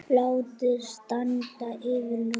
Látið standa yfir nótt.